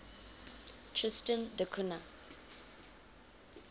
tristan da cunha